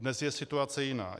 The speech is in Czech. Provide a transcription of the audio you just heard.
Dnes je situace jiná.